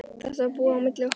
Þetta var búið á milli okkar.